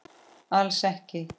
Alls ekki!